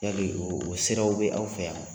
Yali o siraw bɛ aw fɛ yan?